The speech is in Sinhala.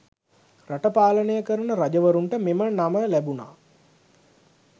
රට පාලනය කරන රජවරුන්ට මෙම නම ලැබුණා.